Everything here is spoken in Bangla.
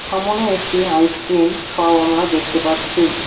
সামনে একটি আইসক্রিম শপ আমরা দেখতে পাচ্ছি।